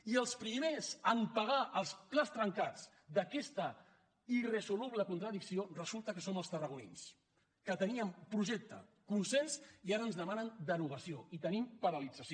i els primers a pagar els plats trencats d’aquesta irresoluble contradicció resulta que som els tarragonins que teníem projecte consens i ara ens demanen derogació i tenim paralització